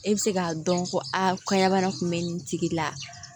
E bɛ se k'a dɔn ko aa kɔɲa bana kun bɛ nin tigi la